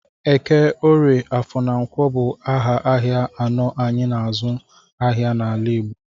Eke, Orie, Afọ na Nkwọ bụ aha ahịa anọ anyị n'azụ ahịa n'ala Igbo.